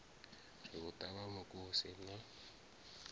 ri u ṱavha mukosi na